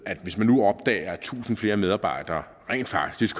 hvis man nu opdager at tusind flere medarbejdere rent faktisk